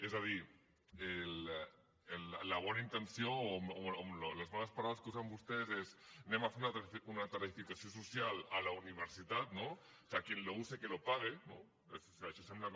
és a dir la bona intenció o les bones paraules que usen vostès són anem a fer una tarifació social a la universitat no o sea quien lo use que lo pague no això sembla com